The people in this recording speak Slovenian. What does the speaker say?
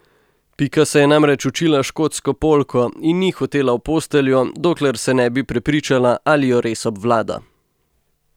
Pika se je namreč učila škotsko polko in ni hotela v posteljo, dokler se ne bi prepričala, ali jo res obvlada.